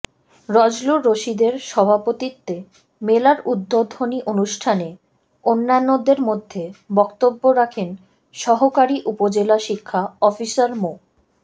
বজলুর রশীদের সভাপতিত্বে মেলার উদ্বোধনী অনুষ্ঠানে অন্যান্যদের মধ্যে বক্তব্য রাখেন সহকারি উপজেলা শিক্ষা অফিসার মো